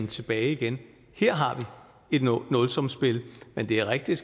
tilbage igen her har vi et nulsumsspil men det er rigtigt